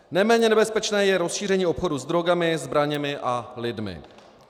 Neméně nebezpečné je rozšíření obchodu s drogami, zbraněmi a lidmi.